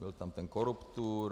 Byl tam ten koruptur (?).